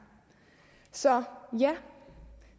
så